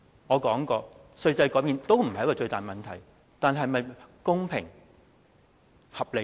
我說過，稅制改變都不是一個最大問題，但這是否公平和合理呢？